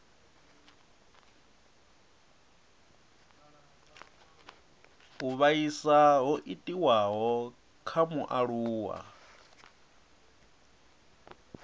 u vhaisa ho itiwaho kha mualuwa